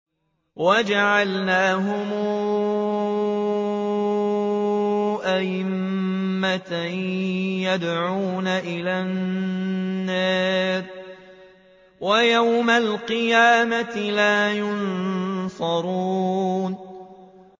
وَجَعَلْنَاهُمْ أَئِمَّةً يَدْعُونَ إِلَى النَّارِ ۖ وَيَوْمَ الْقِيَامَةِ لَا يُنصَرُونَ